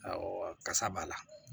Awɔ kasa b'a la